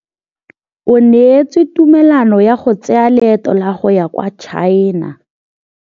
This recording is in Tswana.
O neetswe tumalanô ya go tsaya loetô la go ya kwa China.